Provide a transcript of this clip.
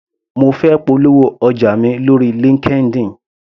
Mo fẹ́ polówó ọjà mi lóri Linkedin.